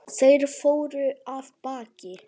Þeir fóru af baki.